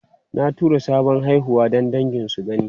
Na tura sabon haihuwa don dangi su gani.